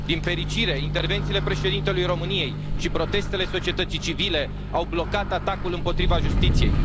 Din fericire, intervențiile Președintelui României și protestele societății civile au blocat atacul împotriva justiției.